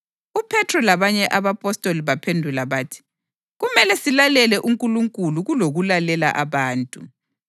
UPhethro labanye abapostoli baphendula bathi, “Kumele silalele uNkulunkulu kulokulalela abantu!